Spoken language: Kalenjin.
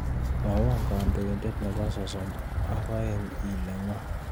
Mwowon kandoiindet nebo sosom ak aeng' ile n'go